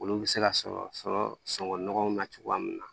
Olu bɛ se ka sɔrɔ sɔrɔ sɔngɔ nɔgɔw na cogoya min na